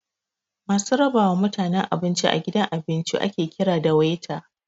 Masu raba wa mutaene abinci a gidan abinci ake kira da 'Waiter'